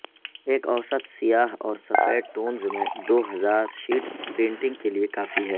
ایک اوسط سیاہ اور سفید ٹونر میں دو ہزار شیٹس پرنٹنگ کے لئے کافی ہے